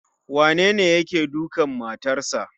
Wanene yake dukan matarsa.